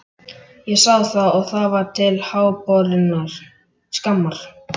Ég sá það og það var til háborinnar skammar.